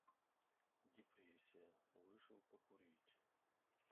депрессия вышел покурить